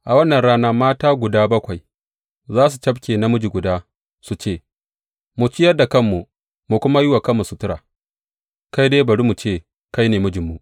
A wannan rana mata guda bakwai za su cafke namiji guda su ce, Ma ciyar da kanmu mu kuma yi wa kanmu sutura; ka dai bari mu ce kai ne mijinmu.